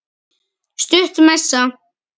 Stutt messa.